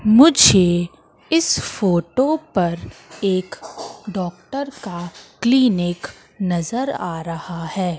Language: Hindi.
मुझे इस फोटो पर एक डॉक्टर का क्लीनिक नजर आ रहा है।